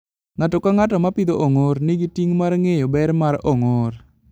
Ng'ato ka ng'ato ma pidho ong'or, nigi ting' mar ng'eyo ber mar ong'or.